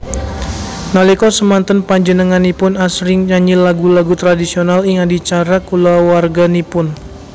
Nalika semanten panjenenganipun asring nyanyi lagu lagu tradisional ing adicara kulawarginipun